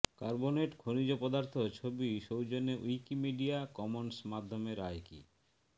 carbonate খনিজ পদার্থ ছবি সৌজন্যে উইকিমিডিয়া কমন্স মাধ্যমে রায়কি